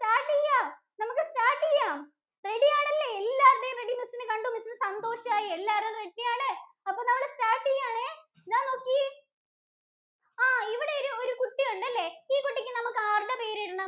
Ready ആണല്ലേ? എല്ലാവരുടെയും ready miss ഇന് കണ്ട് miss ഇന് സന്തോഷായി. എല്ലാവരും ready ആണ്. അപ്പോ നമ്മൾ start ചെയ്യുവാണേ, ദാ നോക്കിയേ. ആഹ് ഇവിടെ ഒരു കുട്ടീ ഉണ്ടല്ലേ? ഈ കുട്ടിക്ക് നമ്മക്ക് ആരുടെ പേരിടണം?